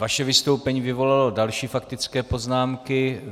Vaše vystoupení vyvolalo další faktické poznámky.